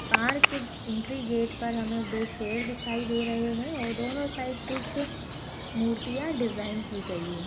पहाड़ के entry gate पे हमें दो शेर दिखाई दे रहे है और दोनों साइड कुछ मूर्तियां डिजाइन की गयी है।